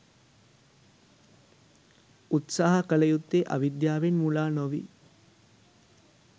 උත්සාහ කළ යුත්තේ අවිද්‍යාවෙන් මුලා නොවී